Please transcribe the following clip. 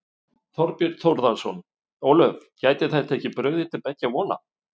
Þorbjörn Þórðarson: Ólöf, gæti þetta ekki brugðið til beggja vona?